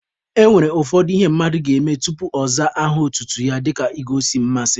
E nwere ụfọdụ ihe mmadụ ga-eme tupu ọ zaa aha otutu ya dịka igosi mmasị.